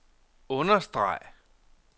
understreg